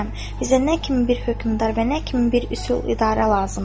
Bizə nə kimi bir hökmdar və nə kimi bir üsul idarə lazımdır?